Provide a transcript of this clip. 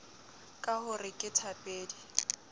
ka ho re ke thapedi